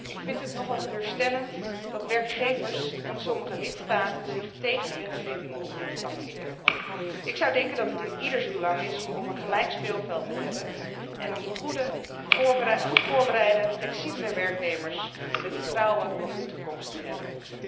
Ik vind het nogal teleurstellend dat werkgevers en sommige lidstaten zich tegen wetgeving op dit vlak keren. Ik zou denken dat het in ieders belang is om een gelijk speelveld te hebben en om goed voorbereide, flexibele werknemers met vertrouwen in de toekomst te hebben.